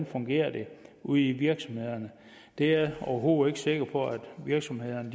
fungerer ude i virksomhederne det er jeg overhovedet ikke sikker på at virksomhederne